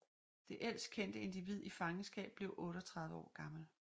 Det ældst kendte individ i fangenskab blev 38 år gammel